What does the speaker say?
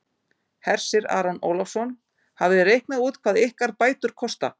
Hersir Aron Ólafsson: Hafið þið reiknað út hvað ykkar bætur kosta?